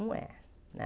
Não é, né?